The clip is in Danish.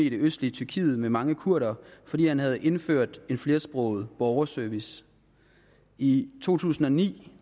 østlige tyrkiet med mange kurdere fordi han havde indført en flersproget borgerservice i to tusind og ni